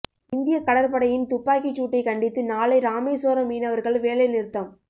இந்திய கடற்படையின் துப்பாக்கிச் சூட்டைக் கண்டித்து நாளை ராமேஸ்வரம் மீனவர்கள் வேலை நிறுத்தம்